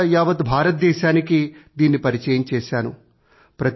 తర్వాత యావత్ భారతాదేశానికీ దీనిని పరిచయం చేసాను